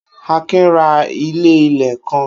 Akin ra ilé-ilẹ̀ kan.